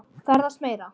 Ferðast meira.